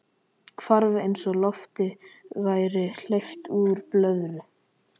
Hvarf eins og lofti væri hleypt úr blöðru.